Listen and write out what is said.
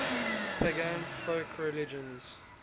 pagan folk religions